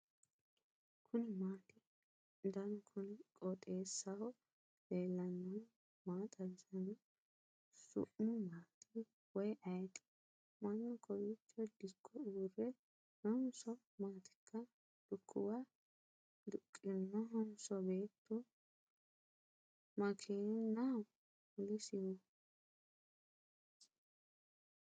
kuni maati ? danu kuni qooxeessaho leellannohu maa xawisanno su'mu maati woy ayeti ? mannu kowiicho dikko uurre noonso maaatika ? lukkuwa duqqinohonso beetu ? makeenaho mulisihu ?